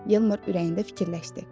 Yeldar ürəyində fikirləşdi.